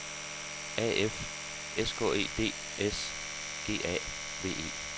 A F S K E D S G A V E